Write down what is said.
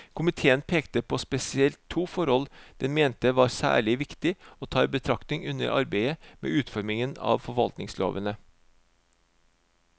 Komiteen pekte på spesielt to forhold den mente var særlig viktig å ta i betraktning under arbeidet med utformingen av forvaltningslovene.